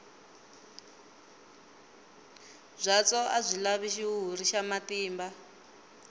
byatso a byi lavi xihuhuri xa matimba